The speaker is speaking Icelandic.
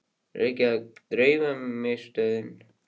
Reykjavík: Dreifingarmiðstöðin.